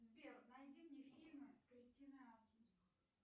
сбер найди мне фильмы с кристиной асмус